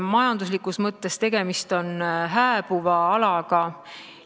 Majanduslikus mõttes on tegemist hääbuva alaga.